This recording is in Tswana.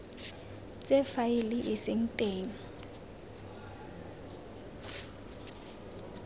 tse faele e seng teng